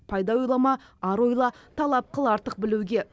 пайда ойлама ар ойла талап қыл артық білуге